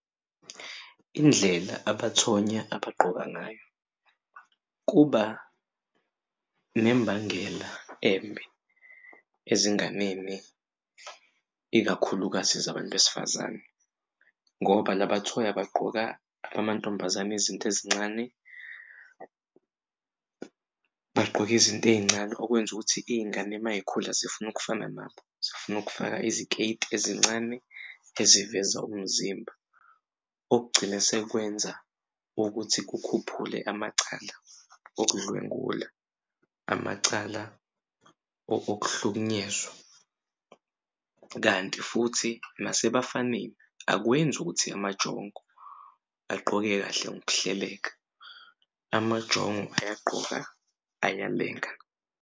Indlela abathonya abagqoka ngayo kuba nembangela embi ezinganeni ikakhulukazi zabantu besifazane, ngoba laba thoya bagqoka amantombazane izinto ezincane, bagqoke izinto ey'ncane okwenza ukuthi iy'ngane uma yikhula zifuna ukufana nabo. Zifuna ukufaka iziketi ezincane eziveza umzimba. Okugcina sekwenza ukuthi kukhuphule amacala okudlwengula, amacala okuhlukunyezwa. Kanti futhi nasebafanele akwenzi ukuthi amajongo agqoke kahle ngokuhleleka, amajongo ayagqoka ayalenga.